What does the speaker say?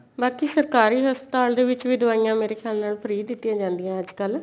ਬਾਕੀ ਸਰਕਾਰੀ ਹਸਪਤਾਲ ਦੇ ਵਿੱਚ ਦਵਾਇਆ ਮੇਰੇ ਖਿਆਲ ਨਾਲ free ਦਿੱਤੀਆਂ ਜਾਂਦੀਆਂ ਅੱਜਕਲ